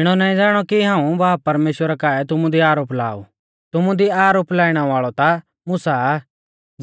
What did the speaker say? इणौ नाईं ज़ाणौ कि हाऊं बाब परमेश्‍वरा काऐ तुमु दी आरोप ला ऊ तुमु दी आरोप लाइणै वाल़ौ ता मुसा आ